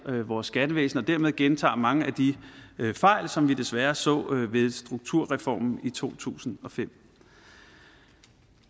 vores skattevæsen og dermed gentager mange af de fejl som vi desværre så ved strukturreformen i to tusind og fem